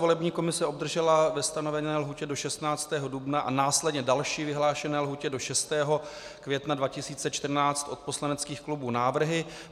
Volební komise obdržela ve stanovené lhůtě do 16. dubna a následně další vyhlášené lhůty do 6. května 2014 od poslaneckých klubů návrhy.